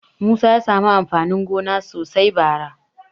Musa ya samu amfanin gona sosai bara.